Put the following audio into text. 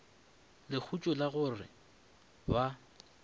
lehutšo la go re ba